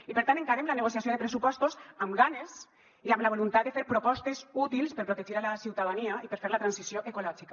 i per tant encarem la negociació de pressupostos amb ganes i amb la voluntat de fer propostes útils per protegir la ciutadania i per fer la transició ecològica